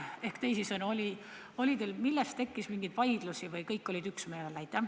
Ehk teisisõnu: oli teil ka mingeid vaidlusi või kõik olid üksmeelel?